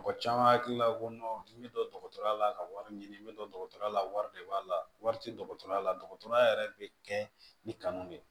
Mɔgɔ caman hakili la ko n bi dɔn dɔgɔtɔrɔya la ka wari ɲini n bɛ don dɔgɔtɔrɔya la wari de b'a la wari tɛ dɔgɔtɔrɔya la dɔgɔtɔrɔya yɛrɛ bɛ kɛ ni kanu de ye